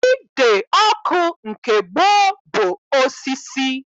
Ide ọkụ nke gboo bụ osisi